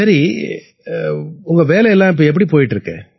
சரி உங்க வேலை எல்லாம் எப்படி போயிட்டு இருக்கு